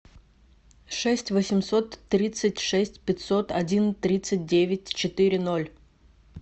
шесть восемьсот тридцать шесть пятьсот один тридцать девять четыре ноль